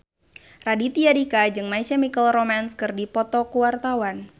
Raditya Dika jeung My Chemical Romance keur dipoto ku wartawan